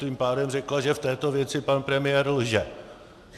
Tím pádem řekla, že v této věci pan premiér lže.